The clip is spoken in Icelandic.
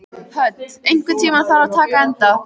Hödd, einhvern tímann þarf allt að taka enda.